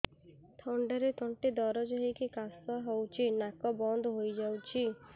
ଥଣ୍ଡାରେ ତଣ୍ଟି ଦରଜ ହେଇକି କାଶ ହଉଚି ନାକ ବନ୍ଦ ହୋଇଯାଉଛି